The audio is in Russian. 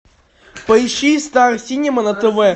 поищи стар синема на тв